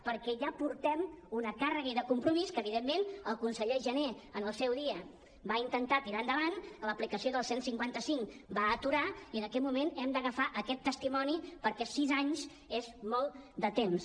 perquè ja portem una càrrega i de compromís que evidentment el conseller jané en el seu dia va intentar tirar endavant l’aplicació del cent i cinquanta cinc ho va aturar i en aquest moment hem d’agafar aquest testimoni perquè sis anys és molt de temps